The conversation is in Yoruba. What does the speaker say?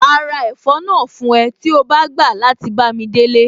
Màá ra ẹ̀fọ́ náà fún ẹ tí o bá gbà láti bámi délé